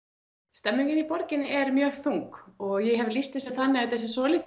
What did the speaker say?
stemningin í borginni er mjög þung og ég hef lýst þessu þannig að þetta sé svolítið